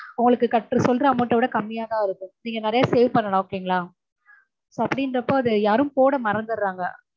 உங்களுக்கு கட்டற சொல்ற amount ட விட கம்மியாதா இருக்கும். நீங்க நிறைய save பண்ணலாம் okay ங்களா? so அப்டீன்றப்போ அத யாரும் போட மறந்துடறாங்க.